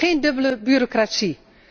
Geen dubbele bureaucratie.